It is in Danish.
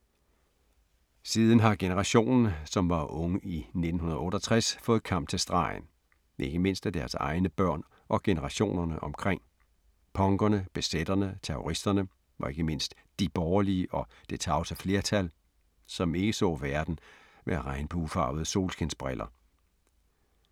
Siden har generationen, som var unge i 68 fået kamp til stregen, ikke mindst af deres egne børn og generationerne omkring; punkerne, bz’erne, terroristerne og ikke mindst ’de borgerlige’ og ’det tavse flertal’, som ikke så verden med regnbuefarvede solskinsbriller.